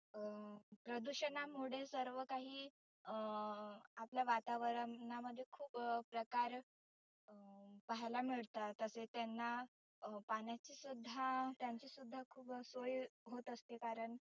प्रदुषनामुळे सर्व काही अं आपल्या वातावरना मध्ये खुप अं प्रकार अं पहायला मिळतात तसे त्यांना अं पाण्याची सुद्धा त्यांची सुद्धा सोय होत असते कारण.